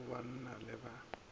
lehung go ya banna le